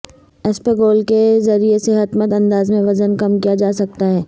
اسپغول کے ذریعے صحت مند انداز میں وزن کم کیا جاسکتاہے